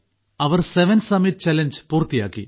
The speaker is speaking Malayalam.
അവർ സെവൻ സമ്മിറ്റ് ചാലഞ്ച് പൂർത്തിയാക്കി